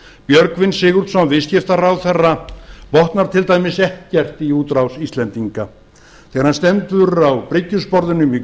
björgvin sigurðsson viðskiptaráðherra botnar til dæmis ekkert í útrás íslendinga þegar hann stendur á bryggjusporðinum í